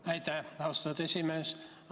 Aitäh, austatud esimees!